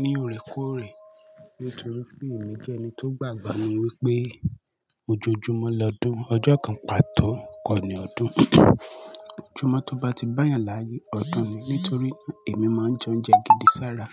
ní òrèkóòrè nítorí pé èmi jẹ́ ẹni tó gbàgbọ́ ni wípé ojoojúmọ́ lọ́dún, ọjọ́ kan pàtó kọ́ ni ọdún. Òjòmọ́ tó bá ti báyẹn láyé, ọ̀dún ni, nítorí èmi máa ń jẹ oúnjẹ gidi sára.